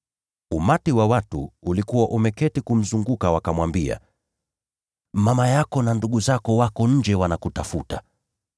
Umati wa watu ulikuwa umeketi kumzunguka, nao wakamwambia, “Mama yako na ndugu zako wako nje, wanakutafuta.”